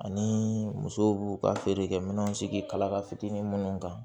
Ani muso b'u ka feerekɛminɛw sigi kala ka fitinin minnu kan